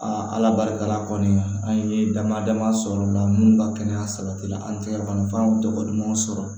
ala barika la kɔni an ye dama dama sɔrɔ la munnu ka kɛnɛya sabati la an tɛ kɔnɔfara dogo dumanw sɔrɔ